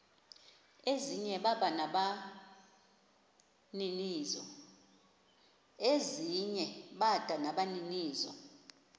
ezinye bada nabaninizo